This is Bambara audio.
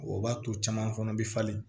O b'a to caman fana bɛ falen